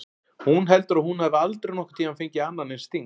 Hún heldur að hún hafi aldrei nokkurn tímann fengið annan eins sting.